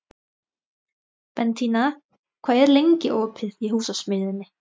Bentína, hvað er lengi opið í Húsasmiðjunni?